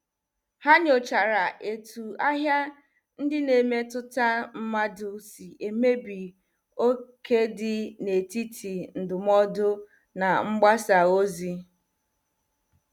Ha nyochara etu ahịa ndị na- emetụta mmadụ si emebi oké dị n' etiti ndụmọdụ na mgbasa ozi.